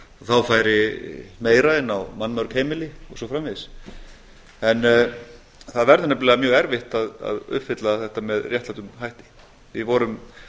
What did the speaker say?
þá færi meira inn á mannmörg heimili og svo framvegis en það verður nefnilega mjög erfitt að uppfylla þetta með réttlátum hætti við vorum